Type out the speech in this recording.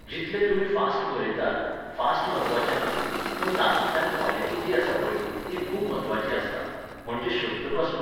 जितलें तुमी फास्ट बरयतात, फास्ट म्हत्वाचें ना, पूण तातूंतल्यान कॉलिटी जी आसा पळय, ती खूब म्हत्वाची आसता, म्हणजे शब्दपासून.